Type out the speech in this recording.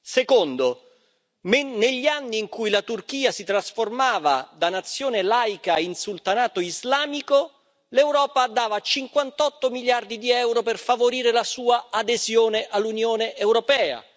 Secondo, negli anni in cui la Turchia si trasformava da nazione laica in sultanato islamico, l'Europa dava 58 miliardi di euro per favorire la sua adesione all'Unione europea.